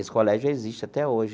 Esse colégio existe até hoje.